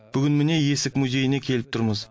бүгін міне есік музейіне келіп тұрмыз